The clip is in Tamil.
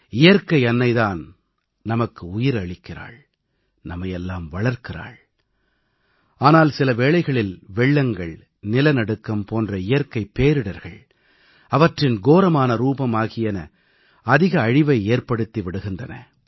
இயற்கை அன்னை தான் நமக்கு உயிர் அளிக்கிறாள் நம்மையெல்லாம் வளர்க்கிறாள் ஆனால் சில வேளைகளில் வெள்ளங்கள் நிலநடுக்கம் போன்ற இயற்கைப் பேரிடர்கள் அவற்றின் கோரமான ரூபம் ஆகியன அதிக அழிவை ஏற்படுத்தி விடுகின்றன